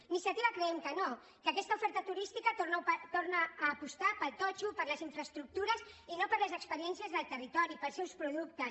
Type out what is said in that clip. iniciativa creiem que no que aquesta oferta turística torna a apostar pel totxo per les infraestructures i no per les experiències del territori pels seus productes